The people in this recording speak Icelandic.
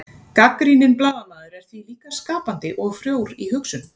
gagnrýninn blaðamaður er því líka skapandi og frjór í hugsun